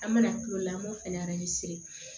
An mana kulola an b'o fɛnɛ